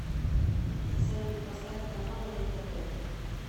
салют поставь канал рентв